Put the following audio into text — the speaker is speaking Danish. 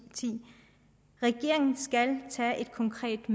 regeringen skal tage et konkret